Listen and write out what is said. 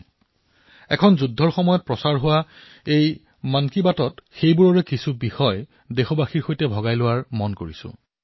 মোৰ মনে কৈছে যুদ্ধৰ মাজত এই মন কী বাতত মই সেই বিষয়সমূহ আপোনালোকৰ সৈতে ভাগবতৰা কৰো